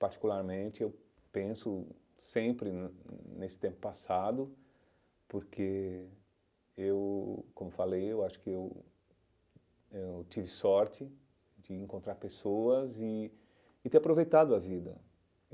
Particularmente, eu penso sempre nesse tempo passado, porque eu, como falei, eu acho que eu eu tive sorte de encontrar pessoas e e ter aproveitado a vida.